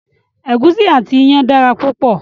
Egusi àti iyán dára púpọ̀